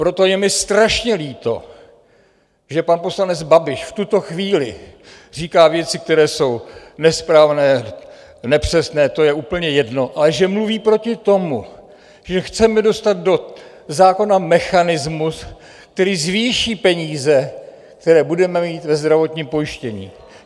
Proto je mi strašně líto, že pan poslanec Babiš v tuto chvíli říká věci, které jsou nesprávné, nepřesné, to je úplně jedno, ale že mluví proti tomu, že chceme dostat do zákona mechanismus, který zvýší peníze, které budeme mít ve zdravotním pojištění.